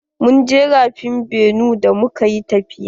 Mun je rafin benue da muka yi tafiya.